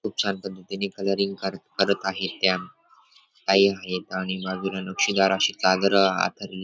खूप छान पद्धतीने कलरिंग करत आहेत त्या ताई आहेत आणि बाजूला नक्षीदार अशी चादर अंथरलेली --